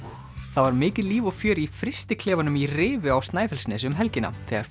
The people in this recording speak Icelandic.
það var mikið líf og fjör í í Rifi á Snæfellsnesi um helgina þegar